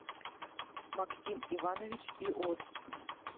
максим иванович иост